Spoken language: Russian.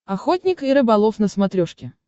охотник и рыболов на смотрешке